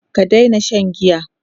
ka Daina Shan giya!